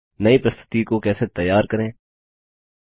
नई प्रस्तुतिप्रज़ेन्टैशन कैसे तैयार करें